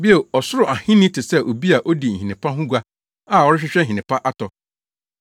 “Bio, Ɔsoro Ahenni te sɛ obi a odi nhene pa ho gua a ɔrehwehwɛ nhene pa atɔ.